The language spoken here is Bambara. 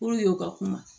Puruke u ka kuma